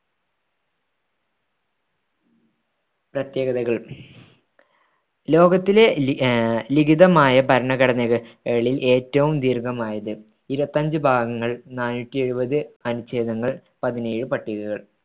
പ്രത്യേകതകൾ ലോകത്തിലെ ലിഖിതമായ ഭരണഘടനകളിൽ ഏറ്റവും ദീർഘമായത് ഇരുപത്തിയഞ്ച് ഭാഗങ്ങൾ നാണൂറ്റിയെഴുപത് അനുഛേദങ്ങൾ പതിനേഴ് പട്ടികകൾ